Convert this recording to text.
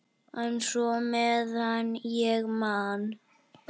En svona meðan ég man.